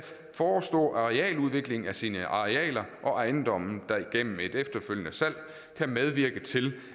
forestå arealudviklingen af sine arealer og ejendomme der igennem et efterfølgende salg kan medvirke til